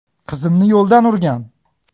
Qizimni yo‘ldan urgan.